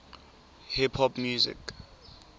hip hop music